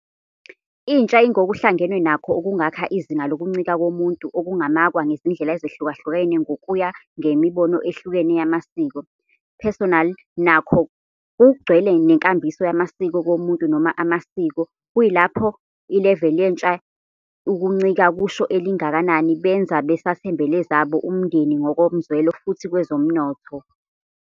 Intsha ingokuhlangenwe nakho okungakha izinga lokuncika komuntu, okungamakwa ngezindlela ezahlukahlukene ngokuya ngemibono ehlukene yamasiko. Personal nakho kugcwele nenkambiso yamasiko komuntu noma amasiko, kuyilapho level yentsha ye ukuncika kusho elingakanani benza basathembele zabo umndeni ngokomzwelo futhi kwezomnotho.